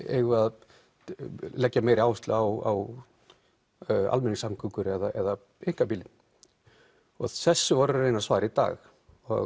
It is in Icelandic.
eigum við að leggja meiri áherslu á almenningssamgöngur eða einkabílinn þessu vorum reyna að svara í dag